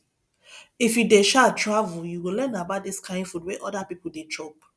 if you dey um travel you go learn about di kain food wey oda pipo dey chop